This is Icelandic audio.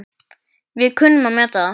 Við kunnum að meta það.